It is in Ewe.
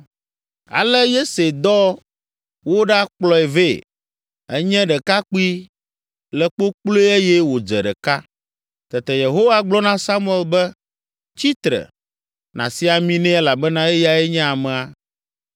Ale Yese dɔ woɖakplɔe vɛ. Enye ɖekakpui, le kpokploe eye wòdze ɖeka. Tete Yehowa gblɔ na Samuel be, “Tsi tre, nàsi ami nɛ elabena eyae nye amea.”